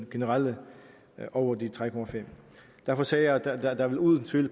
generelt over tre procent derfor sagde jeg at der der uden tvivl